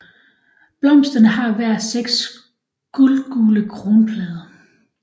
Blomsterne har hver seks guldgule kronblade